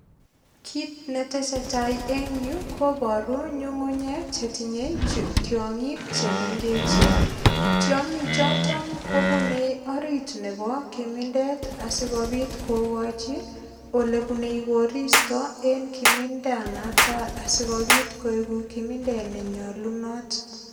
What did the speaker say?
Kit netesetai eng yu kobaru nyungunyek chetinyei tiongik chemengechen. Tiongichito kobunei orit nebo kimindet asigopit kokochi olebunei koristo eng kiminda noto asigopit koegu kimindet ne nyalunot.